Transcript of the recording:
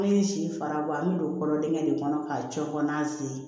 An ye si fara bɔ an bɛ don kɔrɔ dengɛ de kɔnɔ k'a cɛ kɔn'a sen